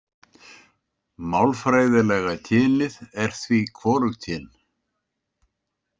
Málfræðilega kynið er því hvorugkyn.